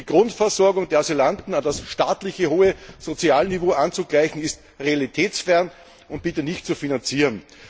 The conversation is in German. Und die Grundversorgung der Asylanten an das staatliche hohe Sozialniveau anzugleichen, ist realitätsfern und nicht zu finanzieren.